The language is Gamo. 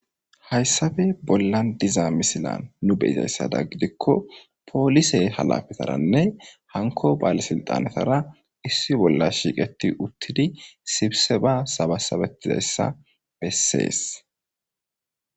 Hayssabe bolla diza misilan nu beyizayssada gidikko poolisey halafetaranne hanko baal silxanetara issi bolla shiiqeti uttidi sibise ba sabasabetizayssa bessees.